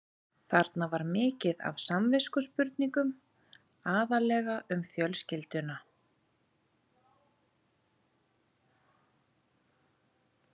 Þarna var mikið af samviskuspurningum, aðallega um fjölskylduna.